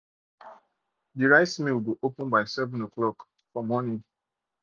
de rice mill go open by seven by seven o'clock for morning